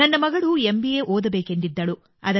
ನನ್ನ ಮಗಳು M B A ಓದಬೇಕೆಂದಿದ್ದಳು